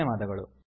ಧನ್ಯವಾದಗಳು